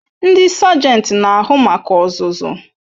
Ndi sagenti n'ahu maka ozuzu